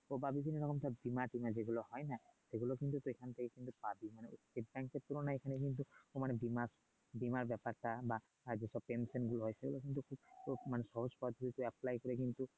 যেগুলো হয় না সেগুলা কিন্তু সেখান থেকে বাতিল হয় এর তুলনায় এখনে কিন্তু মানে বিমা বিমার ব্যাপারটা বা আগে তোর টেনশন গুলো হয় তো মানে সহজ পদ্ধতিতে করে কিন্তু ও ও মানে